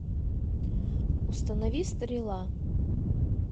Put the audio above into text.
установи стрела